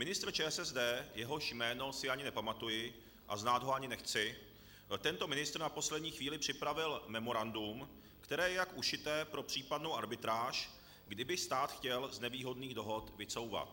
Ministr ČSSD, jehož jméno si ani nepamatuji, a znát ho ani nechci, tento ministr na poslední chvíli připravil memorandum, které je jak ušité pro případnou arbitráž, kdyby stát chtěl z nevýhodných dohod vycouvat.